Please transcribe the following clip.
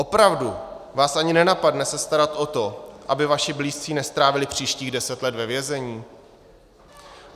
Opravdu vás ani nenapadne se starat o to, aby vaši blízcí nestrávili příštích deset let ve vězení?